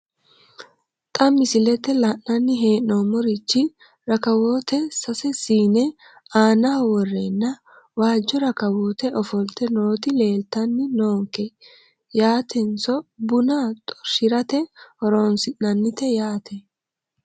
Xa misilete la`nani heenomorichi rakawoote sase siine aanaho woreena waajo rakawoote ofolte nooti leeltani noonke yaateiseno buna xorshirate horonsinanite yaate.